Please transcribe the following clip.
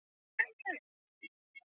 Þú ert stundum hátíðlegur þegar þú talar.